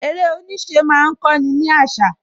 Eré oníṣẹ́ má ń kó ni àṣà